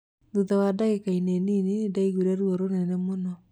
Thutha wa ndagĩka nini nindaiguire ruo rũnene mũno